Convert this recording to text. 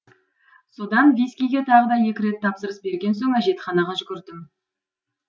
содан вискиге тағы да екі рет тапсырыс берген соң әжетханаға жүгірдім